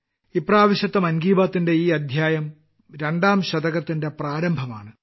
ഇപ്രാവശ്യത്തെ മൻ കി ബാത്ത്ന്റെ ഈ അദ്ധ്യായം രണ്ടാം ശതകത്തിന്റെ പ്രാരംഭമാണ്